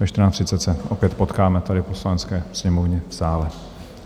Ve 14.30 se opět potkáme tady v Poslanecké sněmovně v sále.